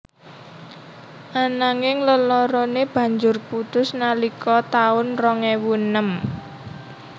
Ananging leloroné banjur putus nalika taun rong ewu enem